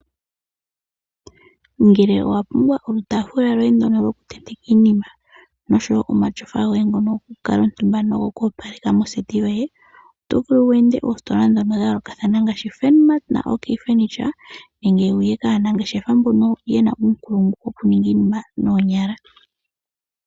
Ngele owa pumbwa olutaafula lwoye ndono lwokutenteka iinima nosho wo omatyofa goye ngono gokukala omutumba nogo ku opaleka moseti yoye, oto vulu wu ende oositola ndhono dha yoolokathana ngaashi; Furnmat naOK furniture, nenge wu ye kaanangeshefa mbono ye na uunongo uunkulungu wokuninga iinima nooonyala.